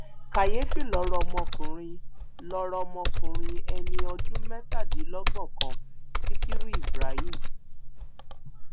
kàyééfì lọrọ ọmọkùnrin lọrọ ọmọkùnrin ẹni ọdún mẹtàdínlọgbọnkàn sikiru ibrahim